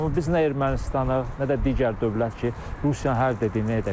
Amma biz nə Ermənistanıq, nə də digər dövlət ki, Rusiyanın hər dediyini edək.